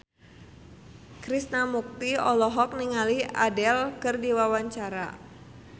Krishna Mukti olohok ningali Adele keur diwawancara